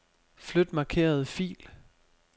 Flyt markerede fil.